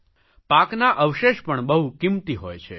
પાકના અવશેષ પણ બહુ કિંમતી હોય છે